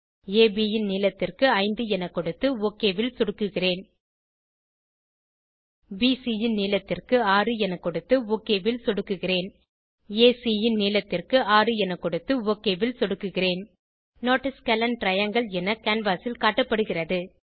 அப் ன் நீளத்திற்கு 5 என கொடுத்து ஒக் ல் சொடுக்குகிறேன் பிசி ன் நீளத்திற்கு 6 என கொடுத்து ஒக் ல் சொடுக்குகிறேன் ஏசி ன் நீளத்திற்கு 6 என கொடுத்து ஒக் ல் சொடுக்குகிறேன் நோட் ஆ ஸ்கேலின் டிரையாங்கில் என கேன்வாஸ் ல் காட்டப்படுகிறது